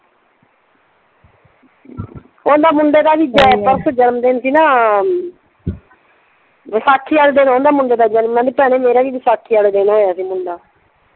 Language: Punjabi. ਉਹਦੇ ਮੁੰਡੇ ਦਾ ਵੀ ਪਰਸੋਂ ਜਨਮ ਦਿਨ ਸੀ ਨਾ ਵੈਸਾਖੀ ਵਾਲੇ ਦਿਨ ਉਹਦੇ ਮੁੰਡੇ ਦਾ ਜਨਮ। ਮੈਂ ਕਿਹਾ ਭੈਣੇ ਮੇਰਾ ਵੀ ਵੈਸਾਖੀ ਵਾਲੇ ਦਿਨ ਹੋਇਆ ਸੀ ਮੁੰਡਾ।